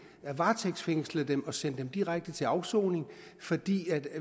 kan varetægtsfængsle dem og sende dem direkte til afsoning fordi